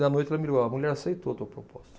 E à noite ela me ligou, olha a mulher aceitou tua proposta.